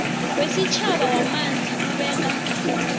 wesitjhaba wamanzi ubeka